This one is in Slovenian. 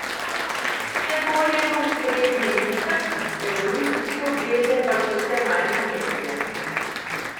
Vse bolj je v ospredju užitek, evolucijske obveze pa so vse manj pomembne.